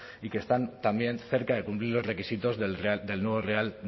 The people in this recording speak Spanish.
y que están también cerca de cumplir los requisitos del nuevo real